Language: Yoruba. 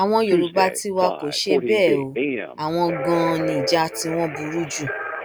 àwọn yorùbá tiwa kò ṣe bẹẹ o àwọn ganan ni ìjà tiwọn burú jù